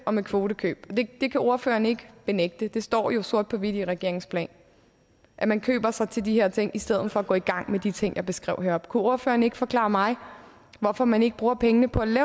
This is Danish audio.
og med kvotekøb det kan ordføreren ikke benægte det står jo sort på hvidt i regeringens plan at man køber sig til de her ting i stedet for at gå i gang med de ting jeg beskrev heroppe kunne ordføreren ikke forklare mig hvorfor man ikke bruger pengene på